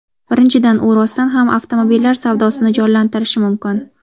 Birinchidan, u rostdan ham avtomobillar savdosini jonlantirishi mumkin.